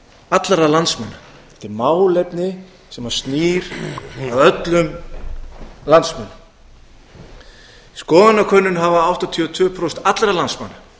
allra landsmanna þetta er málefni sem snýr að öllum landsmönnum í skoðanakönnun hafa áttatíu og tvö prósent allra landsmanna